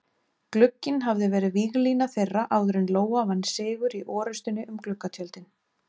Glugginn hafði verið víglína þeirra áður en Lóa vann sigur í orrustunni um gluggatjöldin.